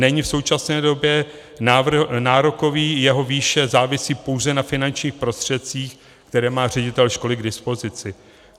Není v současné době nárokový, jeho výše závisí pouze na finančních prostředcích, které má ředitel školy k dispozici.